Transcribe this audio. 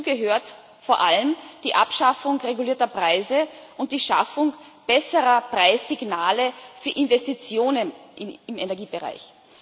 Dazu gehört vor allem die Abschaffung regulierter Preise und die Schaffung besserer Preissignale für Investitionen im Energiebereich.